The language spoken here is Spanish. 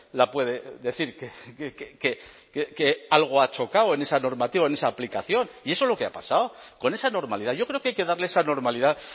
la puede decir que algo ha chocado en esa normativa en esa aplicación y eso es lo que ha pasado con esa normalidad yo creo que hay que darle esa normalidad